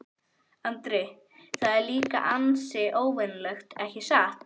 Andri: Það er líka ansi óvenjulegt, ekki satt?